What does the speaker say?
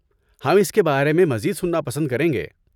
ہم اس کے بارے میں مزید سننا پسند کریں گے۔